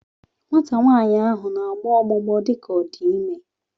Nwata nwaanyị ahụ na-agbọ ọgbụgbọ dị ka ọ dị ime